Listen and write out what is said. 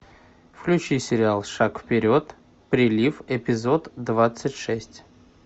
включи сериал шаг вперед прилив эпизод двадцать шесть